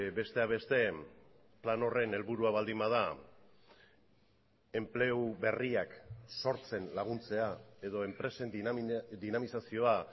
besteak beste plan horren helburua baldin bada enplegu berriak sortzen laguntzea edo enpresen dinamizazioa